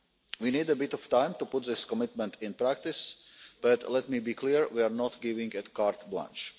We need a bit of time to put this commitment into practice, but let me be clear, we are not giving a carte blanche